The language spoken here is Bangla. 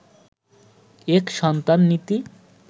এক সন্তান নীতি